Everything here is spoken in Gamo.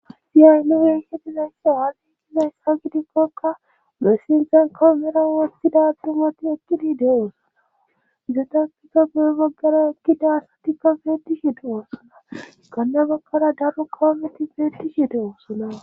siyaynuwenhedizayssa han7igizayssa gidikkokka messinzan kowomera wostida dumati ekqini de7osoa izatakiza beo baggara ekkidasatikka peedishi de7osana ganna baggara daro kawameti beedishi de7osolaa